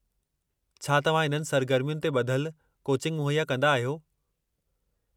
छा तव्हां इन्हनि सरगर्मियुनि ते ॿधल कोचिंग मुहैया कंदा आहियो?